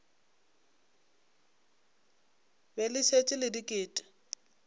be le šetše le diket